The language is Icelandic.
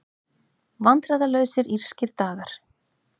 Vandræðalausir írskir dagar